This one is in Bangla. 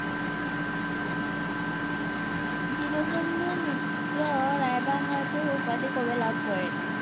দীনবন্ধু মিত্র রায়বাহাদুর উপাধি কবে লাভ করেন?